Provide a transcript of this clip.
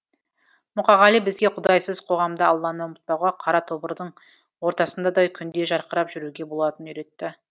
мұқағали бізге құдайсыз қоғамда алланы ұмытпауға қара тобырдың ортасында да күндей жарқырап жүруге болатынын үйретті